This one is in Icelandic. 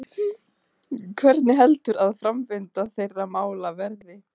Hvernig heldur að framvinda þeirra mála verði?